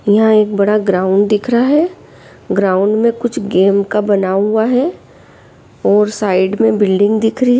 इहा एक बड़ा ग्राउंड दिख रहा है ग्राउंड में कुछ गेम का बना हुआ है और साइड में दिख रही है।